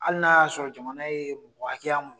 Hali n'a y'a sɔrɔ jamana ye mɔgɔ hakɛya mun